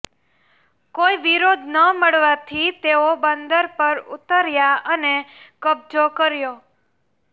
કોઈ વિરોધ ન મળવાથી તેઓ બંદર પર ઉતર્યા અને કબજો કર્યો